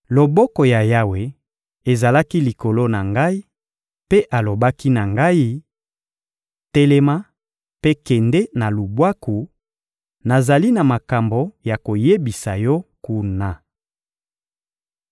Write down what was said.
Loboko ya Yawe ezalaki likolo na ngai, mpe alobaki na ngai: «Telema mpe kende na lubwaku; nazali na makambo ya koyebisa yo kuna.»